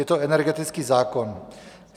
Je to energetický zákon.